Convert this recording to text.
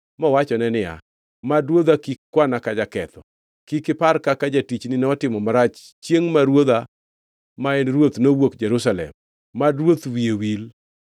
mowachone niya, “Mad ruodha kik kwana ka jaketho. Kik ipar kaka jatichni notimo marach chiengʼ ma ruodha ma en ruoth nowuok Jerusalem. Mad ruoth wiye wil.